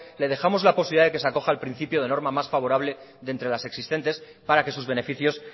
le dejamos la posibilidad de que se acoja al principio de norma más favorable de entre las existentes para que sus beneficios